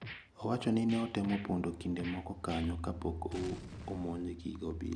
Owacho ni ne otemo pondo kinde moko kanyo kapok omonjgi gi obila.